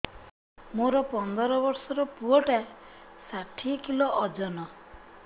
ମୋର ପନ୍ଦର ଵର୍ଷର ପୁଅ ଟା ଷାଠିଏ କିଲୋ ଅଜନ